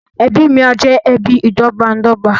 Ẹbí mí á jẹ ẹbí ìdọ́gbańdọ́gba